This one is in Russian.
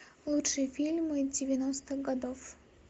лучшие фильмы девяностых годов